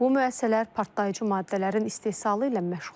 Bu müəssisələr partlayıcı maddələrin istehsalı ilə məşğuldur.